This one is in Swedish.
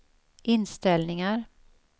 inställningar